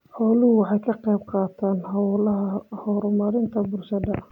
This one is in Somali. Xooluhu waxay ka qayb qaataan hawlaha horumarinta bulshada.